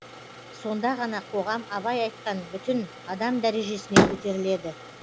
сонда ғана қоғам абай айтқан бүтін адам дәрежесіне көтеріледі